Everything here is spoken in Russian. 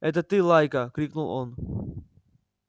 эй ты лайка крикнул он